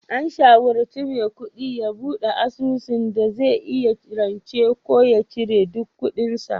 An shawarci Maikudi ya bude asusun dai zai iya rance ko ya cire duk kudin sa